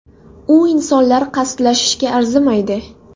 U insonlar qasdlashishga arzimaydi”.